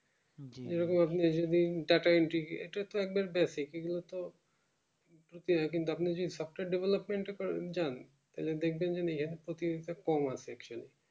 এরকম আপনি data entry এটা তো একবার basic এগুলো তো কিন্তু আপনি যে software development টা করতে যান তাহলে দেখবেন যেন এর প্রতিযোগিতা কম আছে